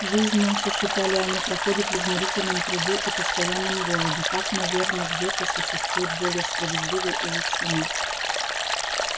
жизнь наша считали они проходит в изнурительном труде и постоянном голоде так наверно где-то существует более справедливый и лучший мир